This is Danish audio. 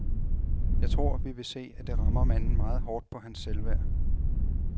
Jeg tror, vi vil se, at det rammer manden meget hårdt på hans selvværd.